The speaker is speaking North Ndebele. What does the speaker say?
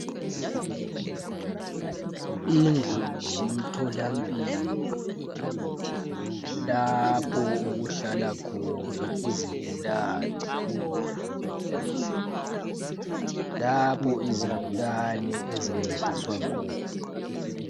Indlu zemtholampilo lapho okuhlala khona izigulani lapho izigulani ezincediswa khona